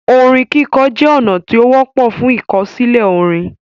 Orin kikọ jẹ ọna ti o wọpọ fun ikosile orin.